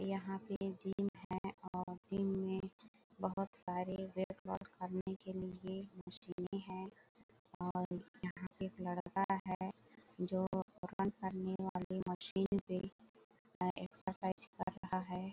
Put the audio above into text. यहाँ पे जिम है और जिम में बहोत सारे वेट लोस करने के लिए मशीने है और यहाँ पे एक लड़का है जो करने वाली मशीन पे अ एक्सरसाईज कर रहा है।